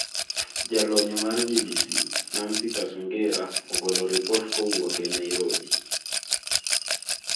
Jalony mar BBC, Nancy Kacungira, ogolo ripot kowuok e Nairobi.